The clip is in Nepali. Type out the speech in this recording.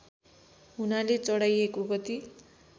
हुनाले चढाइको गति